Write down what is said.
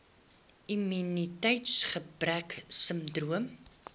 immuniteits gebrek sindroom